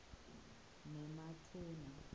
nematuna